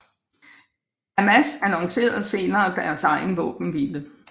Hamas annoncerede senere deres egen våbenhvile